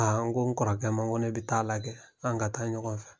N ko n kɔrɔkɛ ma n ko ne bɛ taa a lajɛ an ka taa ɲɔgɔn fɛ